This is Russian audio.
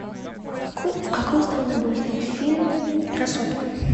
в какой стране был снят фильм красотка